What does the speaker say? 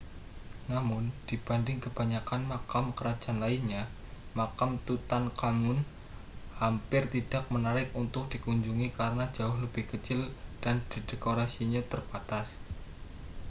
namun dibanding kebanyakan makam kerajaan lainnya makam tutankhamun hampir tidak menarik untuk dikunjungi karena jauh lebih kecil dan dekorasinya terbatas